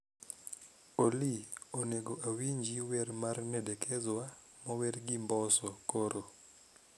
Olly onego awinji wer mar nadekezwa mower gi mbosso koro